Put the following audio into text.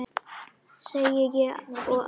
segi ég og gapi.